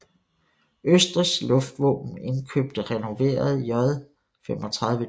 Østrigs Luftvåben indkøbte renoverede J 35D